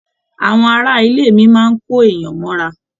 Àwọn ará ilé mi máa n kò èèyàn mọ'ra.